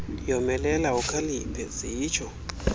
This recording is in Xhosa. yomelela ukhaliphe zitsho